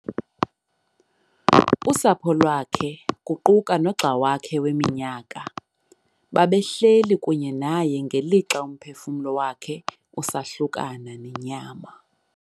Usapho lwakhe, kuquka nogxa wakhe weminyaka, babehleli kunye naye ngelixa umphefumlo wakhe usahlukana nenyama.